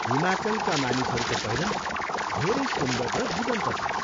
हिमाचलका मानिसहरूको पहिरन धेरै सुन्दर र जीवन्त छ।